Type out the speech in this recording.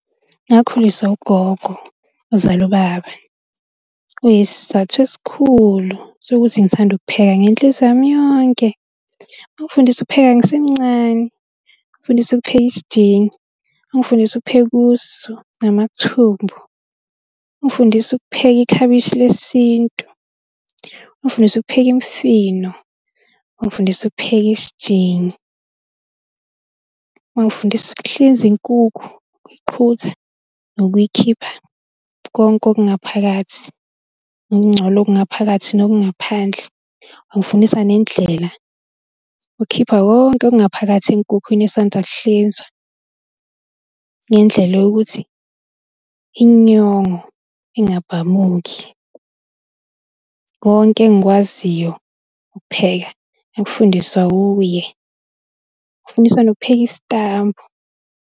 Ngakhuliswa ugogo ozala ubaba. Kuyisizathu esikhulu sokuthi ngithanda ukupheka ngenhliziyo yami yonke. Wangifundisa ukupheka ngisemncane, wangifundisa ukupheka isijingi, wangifundisa ukupheka usu namathumbu. Ungifundise ukupheka ikhabishi lesintu, ungifundise ukupheka imifino, wangifundisa ukupheka isijingi. Wangifundisa ukuhlinza inkukhu, ukuyiqhutha nokuyikhipha konke okungaphakathi, ukungcola okungaphakathi nokungaphandle. Wangifundisa nendlela yokukhipha konke okungaphakathi enkukhwini esanda kuhlinzwa, ngendlela yokuthi inyongo ingabhamuki. Konke engikwaziyo ukupheka, ngakufundiswa uye. Wangifundisa nokupheka isitambu.